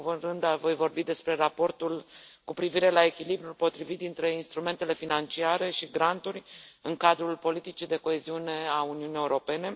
În primul rând, voi vorbi despre raportul cu privire la echilibrul potrivit dintre instrumentele financiare și granturi în cadrul politicii de coeziune a Uniunii Europene.